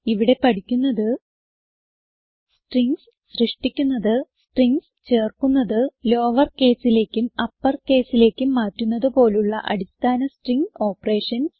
ഇവിടെ പഠിക്കുന്നത് സ്ട്രിംഗ്സ് സൃഷ്ടിക്കുന്നത് സ്ട്രിംഗ്സ് ചേർക്കുന്നത് ലോവർ caseലേക്കും അപ്പർ caseലേക്കും മാറ്റുന്നത് പോലുള്ള അടിസ്ഥാന സ്ട്രിംഗ് ഓപ്പറേഷൻസ്